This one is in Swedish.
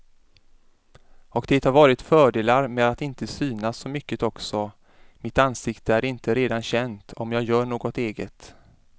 Och det har varit fördelar med att inte synas så mycket också, mitt ansikte är inte redan känt om jag gör något eget.